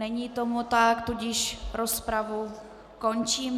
Není tomu tak, tudíž rozpravu končím.